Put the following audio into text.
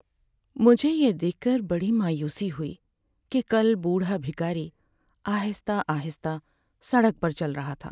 مجھے یہ دیکھ کر بڑی مایوسی ہوئی کہ کل بوڑھا بھکاری آہستہ آہستہ سڑک پر چل رہا تھا۔